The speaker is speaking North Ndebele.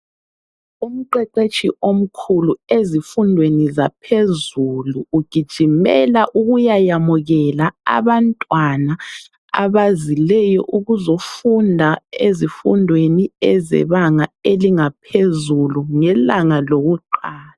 Umqeqetshi omkhulu ezifundweni zaphezulu, ugijimela ukuyayamukela abantwana abazileyo ukuzofunda ezifundweni ezebanga elingaphezulu ngelanga lokuqala.